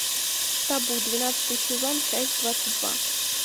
табу двенадцатый сезон часть двадцать два